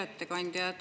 Hea ettekandja!